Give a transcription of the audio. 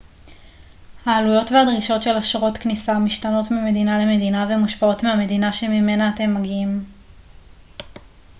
העלויות והדרישות של אשרות כניסה משתנות ממדינה למדינה ומושפעות מהמדינה שממנה אתם מגיעים